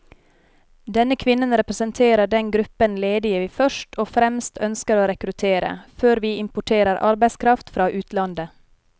Denne kvinnen representerer den gruppen ledige vi først og fremst ønsker å rekruttere, før vi importerer arbeidskraft fra utlandet.